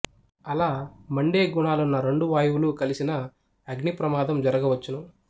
అలామండే గూణాలున్న రెండూ వాయువులు కలసిన అగ్ని ప్రమాదం జరుగవచ్చును